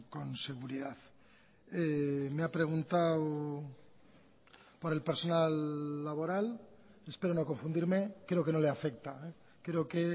con seguridad me ha preguntado por el personal laboral espero no confundirme creo que no le afecta creo que